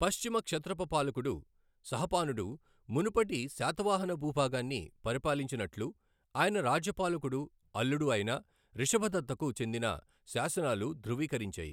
పశ్చిమ క్షత్రప పాలకుడు నహపానుడు మునుపటి శాతవాహన భూభాగాన్ని పరిపాలించినట్లు ఆయన రాజ్యపాలకుడు, అల్లుడు అయిన రిషభదత్తకు చెందిన శాసనాలు ధృవీకరించాయి.